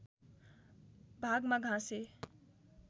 भागमा घाँसे